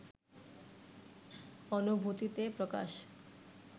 অনুভূতিতে প্রকাশ